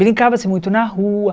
Brincava-se muito na rua.